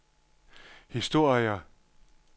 historier